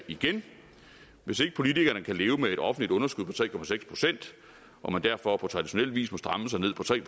hvis ikke politikerne kan leve med et offentligt underskud på tre procent og man derfor på traditionel vis må stramme sig ned på tre